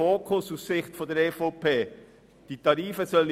Aus Sicht der EVP ist das ein falscher Fokus.